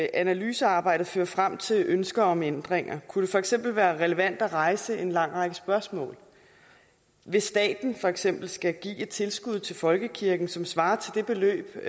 analysearbejdet fører frem til ønsker om ændringer kunne det for eksempel være relevant at rejse en lang række spørgsmål hvis staten for eksempel skal give et tilskud til folkekirken som svarer til det